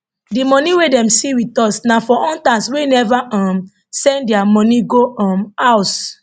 di money wey dem see wit us na for hunters wey never um send dia money go um house